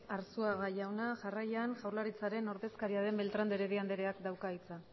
arzuaga jauna jarraian jaurlaritzaren ordezkaria den beltrán de heredia andereak dauka hitza